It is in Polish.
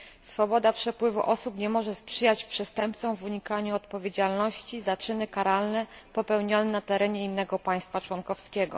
Swoboda przepływu osób nie może sprzyjać przestępcom unikającym odpowiedzialności za czyny karalne popełnione na terenie innego państwa członkowskiego.